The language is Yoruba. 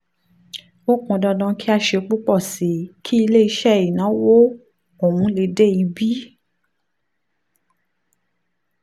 ó pọn dandan kí a ṣe púpọ̀ sí i kí iléeṣẹ́ ìnáwó ọ̀hún lè dé ibi